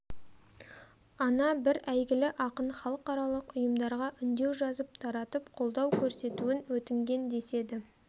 ана бір әйгілі ақын халықаралық ұйымдарға үндеу жазып таратып қолдау көрсетуін өтінген деседі